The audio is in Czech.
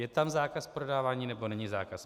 Je tam zákaz prodávání, nebo není zákaz?